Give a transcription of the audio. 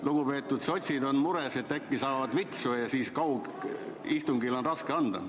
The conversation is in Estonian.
Lugupeetud sotsid on vist mures, et äkki saavad vitsu, ja kaugistungil on raske anda.